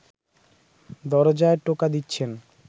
দরজায় টোকা দিচ্ছেন